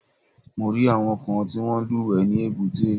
Mo rí àwọn kan tí wọ́n ń lúwẹ̀ẹ́ ní èbúté.